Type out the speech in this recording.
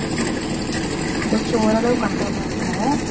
கொஞ்சம் ஓரளவு control ஆ இருக்கும்.